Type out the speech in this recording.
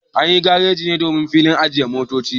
Anyi gareji ne domin filin ajiye motoci